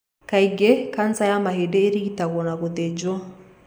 Kaingĩ kanca ya mahĩndĩ ĩrigitagwo na gũthĩnjwo.